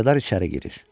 Mülkədar içəri girir.